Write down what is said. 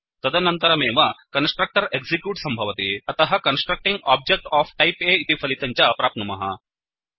तदनन्तरमेव constructor execute सम्भवति अतः constructing object of type A इति फलितं च प्राप्नुमः